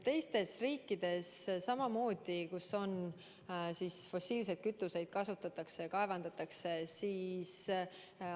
Teistes riikides, kus fossiilseid kütuseid kasutatakse ja kaevandatakse, on samamoodi.